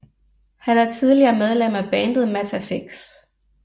Han er tidligere medlem af bandet Mattafix